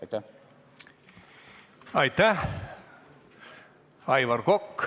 Aitäh!